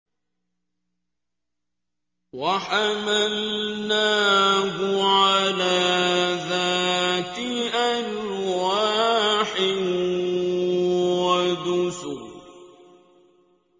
وَحَمَلْنَاهُ عَلَىٰ ذَاتِ أَلْوَاحٍ وَدُسُرٍ